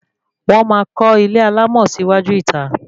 Wọ́n máa kọ́ ilé alámọ̀ sí iwájú ìta